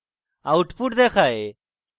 output দেখায়